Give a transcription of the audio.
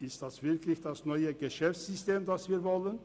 Ist das wirklich das neue Geschäftssystem, das wir wollen?